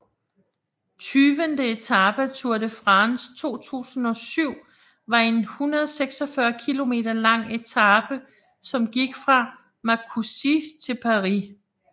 Tyvende etape af Tour de France 2007 var en 146 km lang etape som gik fra Marcoussis til Paris